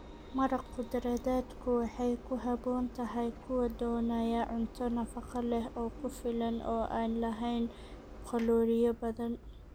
Maraq khudradeedku waxay ku habboon tahay kuwa doonaya cunto nafaqo leh oo ku filan oo aan lahayn kalooriyo badan.